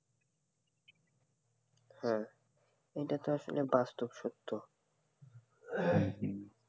হ্যাঁ এটাতো আসলে বাস্তব সত্য